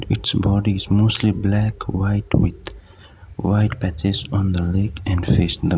it's body is mostly black white with white patches on the leg and face --